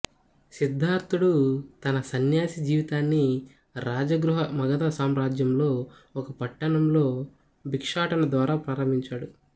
సిద్ధార్ధుడు తన సన్యాసి జీవితాన్ని రాజగృహ మగధ సామ్రాజ్యంలో ఒక పట్టణం లో భిక్షాటన ద్వారా ప్రారంభించాడు